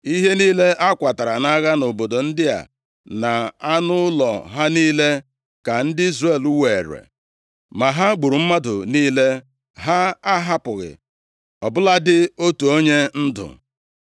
Ihe niile a kwatara nʼagha nʼobodo ndị a, na anụ ụlọ ha niile, ka ndị Izrel weere. Ma ha gburu mmadụ niile. Ha ahapụghị ọ bụladị otu onye ndụ.